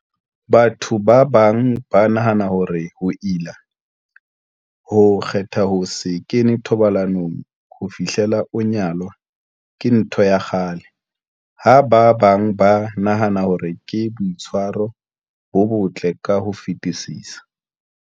Batho ba bang ba nahana hore ho ila, ho kgetha ho se kene thobalanong ho fihlela o nyalwa, ke ntho ya kgale, ha ba bang ba nahana hore ke boitshwaro bo botle ka ho fetisisa.